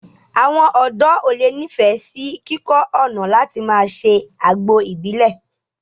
Àwọn ọ̀dọ́ ó le ni ifẹ sì kíkọ́ ọ̀nà láti máa ṣe àgbo Ìbílẹ̀